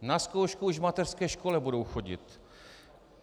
Na zkoušku už v mateřské škole budou chodit!